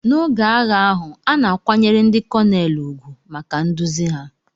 N'oge agha ahụ, a na-akwanyere ndị Konelu ùgwù maka nduzi ha.